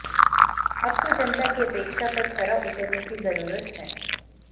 अब तो जनता की अपेक्षा पर खरा उतरने की जरूरत है